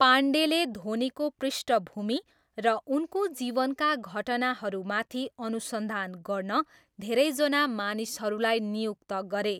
पाण्डेले धोनीको पृष्ठभूमि र उनको जीवनका घटनाहरूमाथि अनुसन्धान गर्न धेरैजना मानिसहरूलाई नियुक्त गरे।